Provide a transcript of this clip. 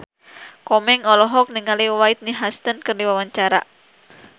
Komeng olohok ningali Whitney Houston keur diwawancara